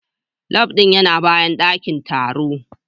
Lab din yana bayan dakin taro